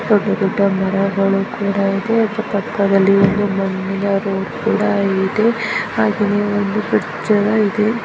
ದೊಡ್ಡ ದೊಡ್ಡ ಮರಗಳು ಕೂಡ ಇದೆ ಅದರ ಪಕ್ಕದಲ್ಲಿ ಒಂದು ಮಣ್ಣಿನ ರೋಡ್ ಕೂಡ ಇದೆ ಹಾಗೇನೇ ಒಂದು ಬ್ರಿಜ್ ಏನೊ ಇದೆ.